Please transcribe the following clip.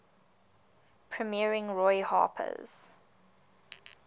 premiering roy harper's